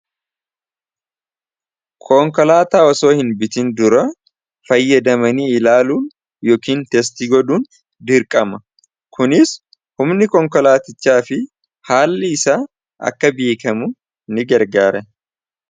Konkolaataa osoo hin bitin dura fayyadamanii ilaaluun yookiin testi godhuun dirqama. Kunis humni konkolaatichaa fi haalli isaa akka beekamu ni gargaara.